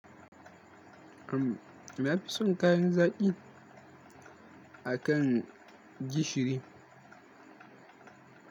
Na fi son kayan zaƙin akan gishiri.